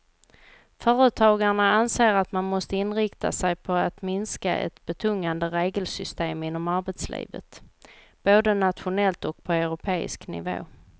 Företagarna anser att man måste inrikta sig på att minska ett betungande regelsystem inom arbetslivet, både nationellt och på europeisk nivå.